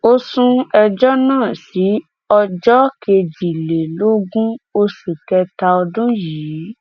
ó sún ẹjọ náà sí ọjọ kejìlélógún oṣù kẹta ọdún yìí